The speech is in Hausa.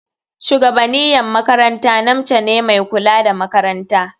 Shugabaniyan makaranta namce ne mai kula da makarantar.